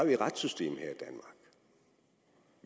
et retssystem